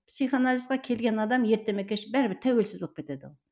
психоанализге келген адам ерте ме кеш пе бәрібір тәуелсіз болып кетеді ол